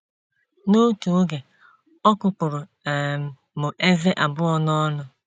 “ N’otu oge, ọ kụpụrụ um m ezé abụọ n’ọnụ.